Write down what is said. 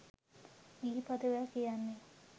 ගී පදවැල් කියන්නේ